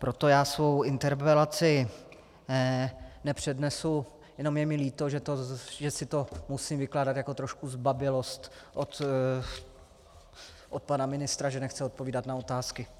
Proto já svou interpelaci nepřednesu, jenom je mi líto, že si to musím vykládat jako trošku zbabělost od pana ministra, že nechce odpovídat na otázky.